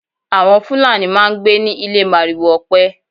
Àwọn Fulani máá ń gbé ní ilé màrìwò ọpẹ